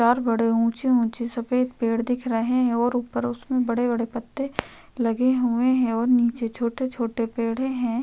चार बड़े ऊंचे-ऊंचे सफेद पेड़ दिख रहे हैं और ऊपर उसमें बड़े-बड़े पत्ते लगे हुए हैं और नीचे छोटे-छोटे पेड़े हैं।